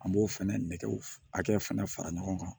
An b'o fɛnɛ nɛgɛw hakɛ fɛnɛ fara ɲɔgɔn kan